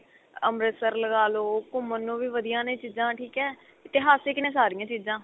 ਅੰਮ੍ਰਿਤਸਰ ਲਗਾ ਲੋ ਘੁਮੰਣ ਨੂੰ ਵੀ ਵਧੀਆ ਨੇ ਚੀਜ਼ਾ ਠੀਕ ਏ ਇਤਿਹਾਸਕ ਨੇ ਸਾਰੀਆ ਚੀਜ਼ਾ